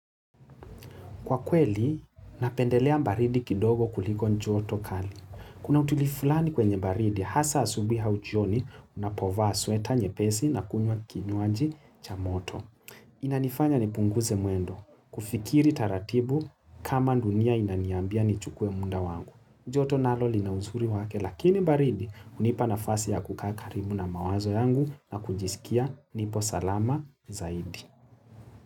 Kwa kweli, napendelea baridi kidogo kuliko joto kali. Kuna utilivu fulani kwenye baridi, hasa asubuhi au jioni, unapovaa sweta, nyepesi na kunywa kinywaji cha moto. Inanifanya nipunguze mwendo. Kufikiri taratibu kama dunia inaniambia ni chukue munda wangu. Joto nalo linauzuri wake, lakini baridi Hunipana nfasi ya kukaa karibu na mawazo yangu na kujisikia nipo salama zaidi.